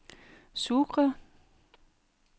Sucre